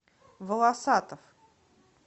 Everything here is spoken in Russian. волосатов